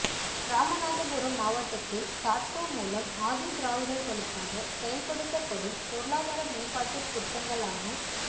ராமநாதபுரம் மாவட்டத்தில் தாட்கோ மூலம் ஆதிதிராவிடர்களுக்காக செயல்படுத்தப்படும் பொருளாதார மேம்பாட்டுத் திட்டங்களான